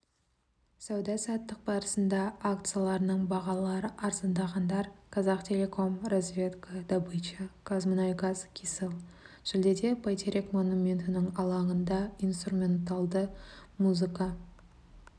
сауда-саттық барысында акцияларының бағалары арзандағандар казахтелеком разведка добыча казмунайгаз кселл шілдеде бәйтерек монументінің алаңында инструменталды музыка